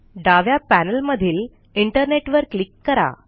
डाव्या पॅनेलमधील इंटरनेट वर क्लिक करा